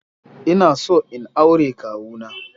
Ina so in aure kawu na.